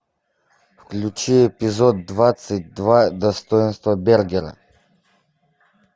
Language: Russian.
включи эпизод двадцать два достоинство бергера